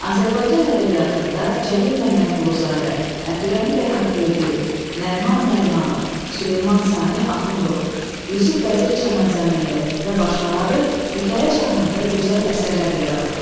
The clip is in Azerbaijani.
Azərbaycan ədəbiyyatında Cəlil Məmmədquluzadə, Əbdürrəhimbəy Haqverdiyev, Nəriman Nərimanov, Süleyman Sani Axundov, Yusif Vəzir Çəmənzəminli və başqaları hekayə janrında gözəl əsərlər yaradıblar.